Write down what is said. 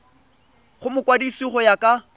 go mokwadise go ya ka